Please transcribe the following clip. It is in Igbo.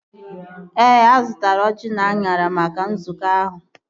Ee, azụtara ọjị na anyara maka nzukọ ahụ